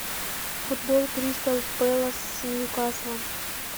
футбол кристал пэлас с ньюкаслом